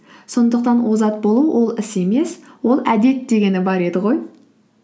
сондықтан озат болу ол іс емес ол әдет дегені бар еді ғой